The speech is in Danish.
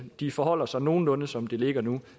de forholder sig nogenlunde som det ligger nu